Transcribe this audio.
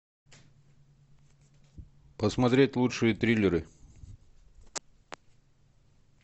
посмотреть лучшие триллеры